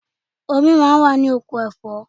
Omi máa ń wà ní oko ẹ̀fọ́.